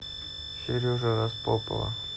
сережи распопова